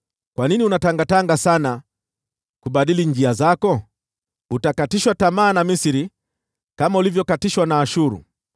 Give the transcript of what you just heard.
Kwa nini unatangatanga sana, kubadili njia zako? Utakatishwa tamaa na Misri kama ulivyokatishwa na Ashuru.